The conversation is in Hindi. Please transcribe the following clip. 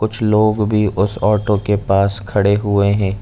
कुछ लोग भी उस ऑटो के पास खड़े हुए है।